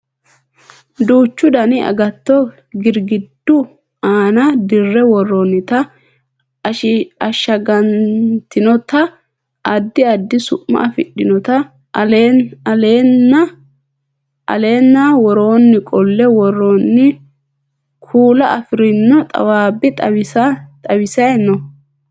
duuchu dani agatto girgiddu aana dirre worroonnita ashshagantinota addi addi su'ma afidhinota aleenna woroonni qolle worroonni kuula afirino xawaabbi xawise no